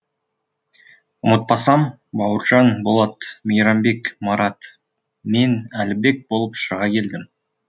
ұмытпасам бауыржан болат мейрамбек марат мен әлібек болып шыға келдім